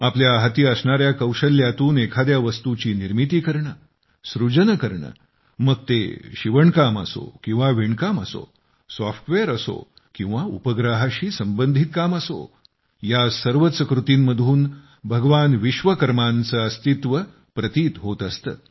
आपल्या हाती असणार्या कौशल्यातून एखाद्या वस्तूची निर्मिती करणे सृजन करणे मग ते शिवणकाम किंवा विणकाम असो सॉफ्टवेअर असो किंवा उपग्रहाशी संबंधित काम असो या सर्वच कृतींमधून भगवान विश्वकर्मांचे अस्तित्व प्रतीत होत असते